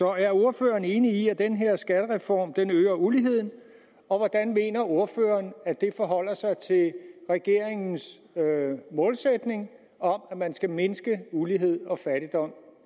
er ordføreren enig i at den her skattereform øger uligheden og hvordan mener ordføreren at det forholder sig til regeringens målsætning om at man skal mindske ulighed og fattigdom